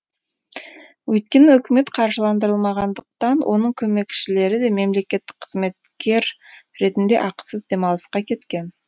өйткені үкімет қаржыландырылмағандықтан оның көмекшілері де мемлекеттік қызметкер ретінде ақысыз демалысқа кеткен